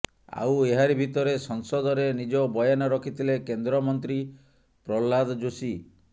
ଆଉ ଏହାରି ଭିତରେ ସଂସଦରେ ନିଜ ବୟାନ ରଖିଥିଲେ କେନ୍ଦ୍ରମନ୍ତ୍ରୀ ପ୍ରହ୍ଲାଦ ଜୋଶୀ